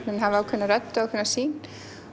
hann hafa ákveðna rödd og ákveðna sýn